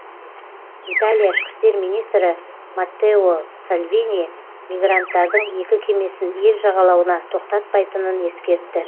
италия ішкі істер министрі маттео салвини мигранттардың екі кемесін ел жағалауына тоқтатпайтынын ескертті